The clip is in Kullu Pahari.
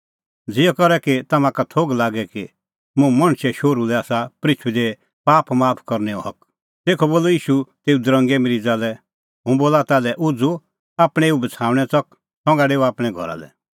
ज़िहअ करै तम्हां का थोघ लागे कि मुंह मणछे शोहरू लै आसा पृथूई दी पाप माफ करनैओ हक तेखअ बोलअ ईशू तेऊ दरंगे मरीज़ा लै हुंह बोला ताल्है उझ़ू आपणैं एऊ बछ़ाऊणैं च़क संघा डेऊ आपणैं घरा लै